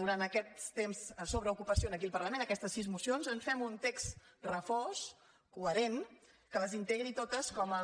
durant aquest temps sobre ocupació aquí al parlament aquestes sis mocions en fem un text refós coherent que les integri totes com el